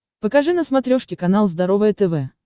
покажи на смотрешке канал здоровое тв